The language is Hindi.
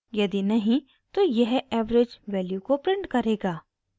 यदि नहीं तो यह average वैल्यू को प्रिंट करेगा